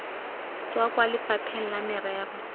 tswa kwa lefapheng la merero